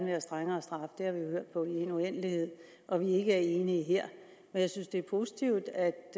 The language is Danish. have strengere straffe det har vi jo hørt på i en uendelighed og at vi ikke er enige her men jeg synes det er positivt at